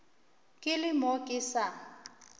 ke le mo ke sa